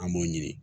An b'o ɲini